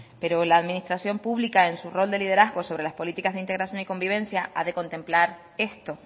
pero la administración pública en su rol de liderazgo sobre las políticas de integración y de convivencia ha de contemplar esto